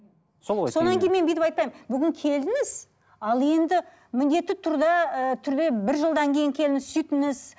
сол ғой сонан кейін мен бүйтіп айтпаймын бүгін келдіңіз ал енді міндетті түрде ііі түрде бір жылдан кейін келіңіз сөйтіңіз